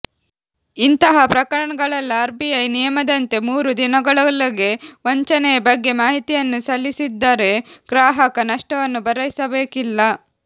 ಇಂತಹ ಪ್ರಕರಣಗಳಲ್ಲ R BI ನಿಯಮದಂತೆ ಮೂರು ದಿನಗಳೊಳಗೆ ವಂಚನೆಯ ಬಗ್ಗೆ ಮಾಹಿತಿಯನ್ನು ಸಲ್ಲಿಸಿದ್ದರೆ ಗ್ರಾಹಕ ನಷ್ಟವನ್ನು ಭರಿಸಬೇಕಿಲ್ಲ